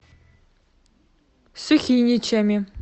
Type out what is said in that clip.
сухиничами